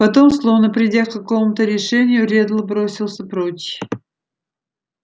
потом словно придя к какому-то решению реддл бросился прочь